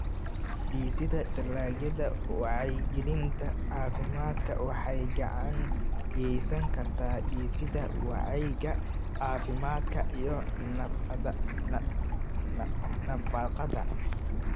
Dhisida Dalagyada Wacyigelinta Caafimaadka waxay gacan ka geysan kartaa dhisidda wacyiga caafimaadka iyo nafaqada.